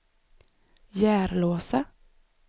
Järlåsa